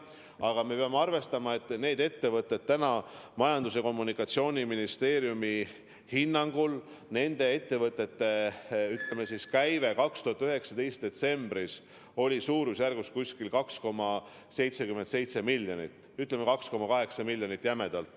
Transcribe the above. Aga me peame arvestama, et Majandus- ja Kommunikatsiooniministeeriumi hinnangul nende ettevõtete käive 2019. aasta detsembris oli 2,77 miljonit, ütleme 2,8 miljonit.